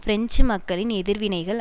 French மக்களின் எதிர்வினைகள்